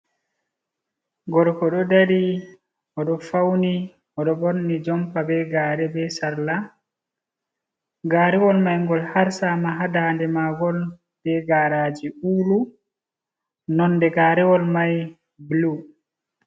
Gorko ɗo ɗari odo fauni odo borni jompa be gare be sarla. Gàrewol mai gol harsama ha daadé magol bé garaji ùlu nonde gàrewol mai bulu.